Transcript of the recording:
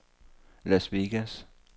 Las Vegas